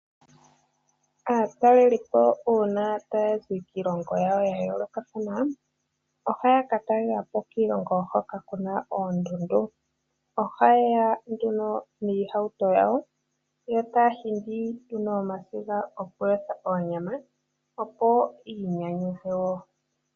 Aatalelipo uuna taya zi kiilongo yawo ya yoolokathana, ohaya ka talela po kiilongo hoka ku na oondundu. Oha yeya nduno niihauto yawo yo taya hingi nomasiga gokuyotha onyama opo yiinyanyudhe woo.